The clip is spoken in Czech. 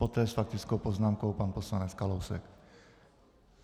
Poté s faktickou poznámkou pan poslanec Kalousek.